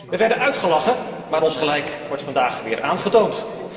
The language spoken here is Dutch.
We werden uitgelachen, maar ons gelijk wordt vandaag weer aangetoond.